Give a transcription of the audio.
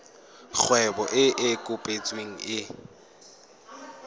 kgwebo e e kopetsweng e